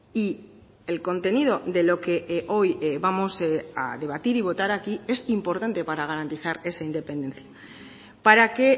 y el contenido de lo que hoy vamos a debatir y votar aquí es importante para garantizar esa independencia para que